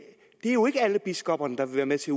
er jo ikke alle biskopperne der vil være med til